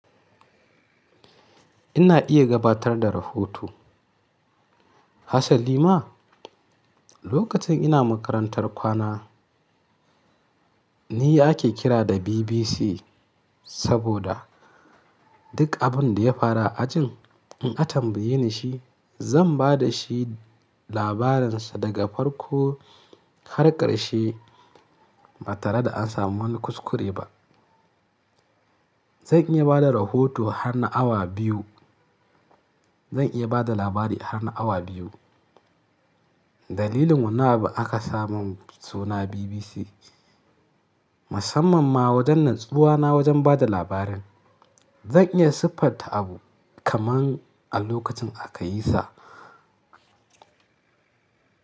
Ina iya gabatar da rahoto. Hassan Lima, lokacin ina makarantar kwana ni ake kira da BBC saboda duk abin da ya faru a ajin in an tambaye ni shi zan ba da shi labarinsa daga farko har ƙarshe ba tare da an samu wani kuskure ba. Zan iya ba da rahoto har na awa biyu. Zan iya ba da labari har na awa biyu. Dalilin wanna nabu aka sa mun suna BBC. Musamman ma wajen natsuwana wajen bada labarin zan iya siffanta abu kaman a lokacin aka yi sa.